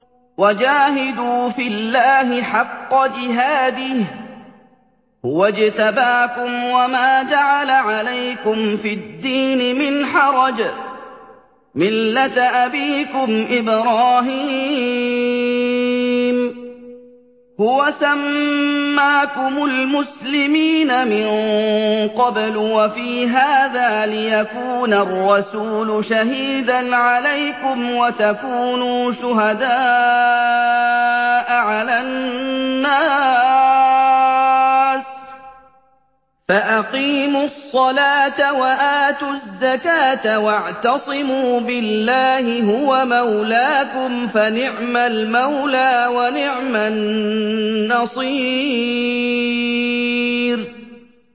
وَجَاهِدُوا فِي اللَّهِ حَقَّ جِهَادِهِ ۚ هُوَ اجْتَبَاكُمْ وَمَا جَعَلَ عَلَيْكُمْ فِي الدِّينِ مِنْ حَرَجٍ ۚ مِّلَّةَ أَبِيكُمْ إِبْرَاهِيمَ ۚ هُوَ سَمَّاكُمُ الْمُسْلِمِينَ مِن قَبْلُ وَفِي هَٰذَا لِيَكُونَ الرَّسُولُ شَهِيدًا عَلَيْكُمْ وَتَكُونُوا شُهَدَاءَ عَلَى النَّاسِ ۚ فَأَقِيمُوا الصَّلَاةَ وَآتُوا الزَّكَاةَ وَاعْتَصِمُوا بِاللَّهِ هُوَ مَوْلَاكُمْ ۖ فَنِعْمَ الْمَوْلَىٰ وَنِعْمَ النَّصِيرُ